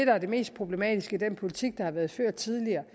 at det mest problematiske i den politik der har været ført tidligere